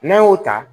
N'an y'o ta